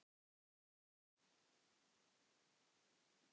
Þín systir Rósa Dóra.